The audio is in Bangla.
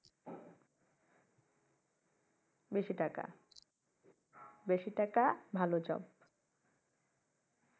বেশি টাকা বেশি টাকা ভালো job